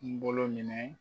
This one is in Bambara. N bolo minɛ